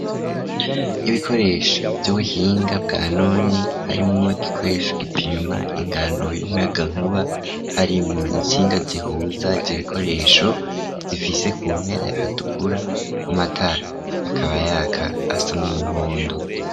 Ibikoresho vy'ubuhinga bwa none .Harimwo gikoresho gipima ingano y'umuyaga nkuba hari mu itsinga zihuza ivyo bikoresho zifise kumpera yahatukura. Amatara akaba yaka asa n umuhondo.